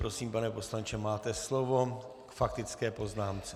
Prosím, pane poslanče, máte slovo k faktické poznámce.